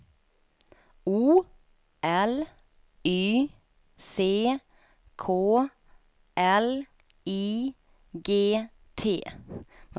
O L Y C K L I G T